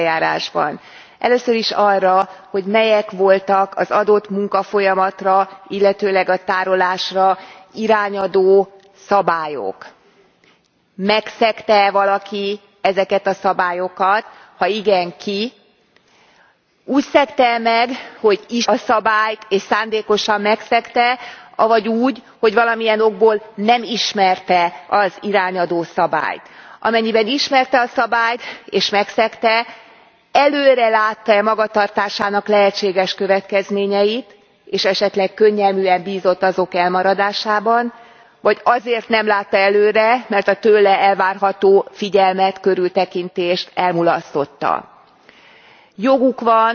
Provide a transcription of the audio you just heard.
Elnök Úr, képviselőtársam felvetését folytatva, mire is kell keresni a választ a büntetőeljárásban. Először is arra, hogy melyek voltak az adott munkafolyamatra, illetőleg a tárolásra irányadó szabályok? Megszegte e valaki ezeket a szabályokat, ha igen, ki? Úgy szegte e meg, hogy ismerte a szabályt és szándékosan megszegte, avagy úgy, hogy valamilyen okból nem ismerte az irányadó szabályt? Amennyiben ismerte a szabályt és megszegte, előre látta e magatartásának lehetséges következményeit és esetleg könnyelműen bízott azok elmaradásában, vagy azért nem látta előre, mert a tőle elvárható figyelmet, körültekintést elmulasztotta? Joguk